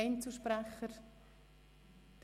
– Das ist nicht der Fall.